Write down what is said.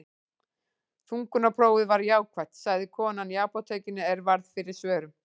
Þungunarprófið var jákvætt, sagði kona í apótekinu er varð fyrir svörum.